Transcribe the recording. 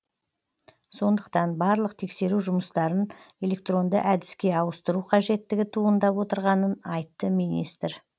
сондықтан барлық тексеру жұмыстарын электронды әдіске ауыстыру қажеттігі туындап отырғанын айтты министр